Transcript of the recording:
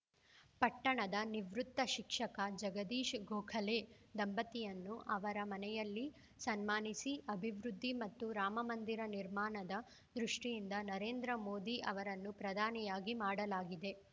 ಪಟ್ಟಣದ ನಿವೃತ್ತ ಶಿಕ್ಷಕ ಜಗದೀಶ್‌ ಗೋಖಲೆ ದಂಪತಿಯನ್ನು ಅವರ ಮನೆಯಲ್ಲಿ ಸನ್ಮಾನಿಸಿ ಅಭಿವೃದ್ಧಿ ಮತ್ತು ರಾಮಮಂದಿರ ನಿರ್ಮಾಣದ ದೃಷ್ಟಿಯಿಂದ ನರೇಂದ್ರ ಮೋದಿ ಅವರನ್ನು ಪ್ರಧಾನಿಯಾಗಿ ಮಾಡಲಾಗಿದೆ